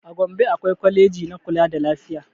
A gombe akwai kwaleji na kula da lafiya